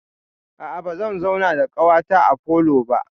A'a, bazan zauna da ƙawata a falo ba.